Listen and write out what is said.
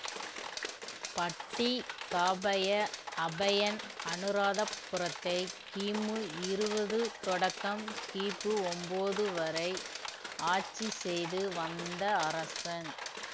பட்டி காபய அபயன் அனுராதபுரத்தை கிமு இருவது தொடக்கம் கிபு ஒன்போது வரை ஆட்சி செய்து வந்த அரசன்